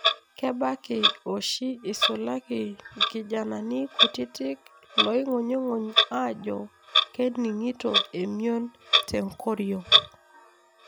Kebaki oshi esulaki ikijanani kutiti loingunyunguny ajo keningito emion tenkoriong.